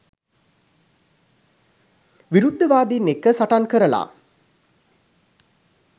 විරුද්ධවාදින් එක්ක සටන් කරලා